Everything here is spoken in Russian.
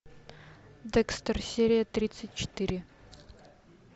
декстер серия тридцать четыре